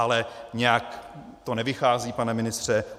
Ale nějak to nevychází, pane ministře.